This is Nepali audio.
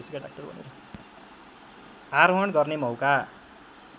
आरोहण गर्ने मौका